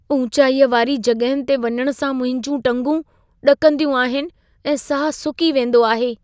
ऊचाईअ वारी जॻहियुनि ते वञण सां मुंहिंजी टंगूं ॾकंदियूं आहिनि ऐं साह सुकी वेंदो आहे।